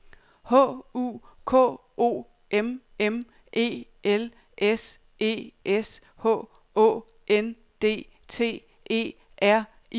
H U K O M M E L S E S H Å N D T E R I N G E N